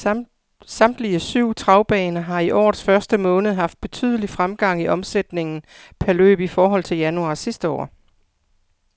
Samtlige syv travbaner har i årets første måned haft betydelig fremgang i omsætningen per løb i forhold til januar sidste år.